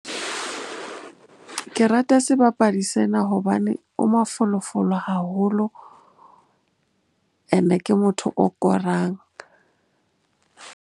Ke rata sebapadi sena hobane o mafolofolo haholo and-e ke motho o korang.